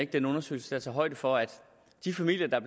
den undersøgelse tager højde for at de familier der